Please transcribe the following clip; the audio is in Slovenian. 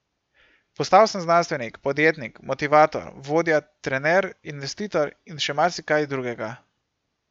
Postal sem znanstvenik, podjetnik, motivator, vodja, trener, investitor in še marsikaj drugega.